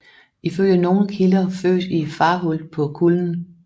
Ifølge nogle kilder født i Farhult på Kullen